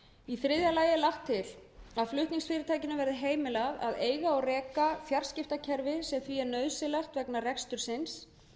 í þriðja lagi er lagt til að flutningsfyrirtækinu verði heimilað að eiga og reka fjarskiptakerfi sem því er nauðsynlegt vegna rekstursins